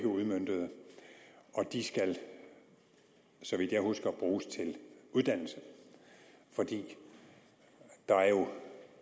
udmøntede og de skal så vidt jeg husker bruges til uddannelse for der er jo